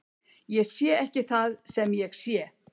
Ég sé ekki það sem ég sé.